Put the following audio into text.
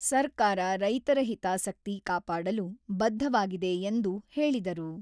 ಸರ್ಕಾರ ರೈತರ ಹಿತಾಸಕ್ತಿ ಕಾಪಾಡಲು ಬದ್ಧವಾಗಿದೆ ಎಂದು ಹೇಳಿದರು.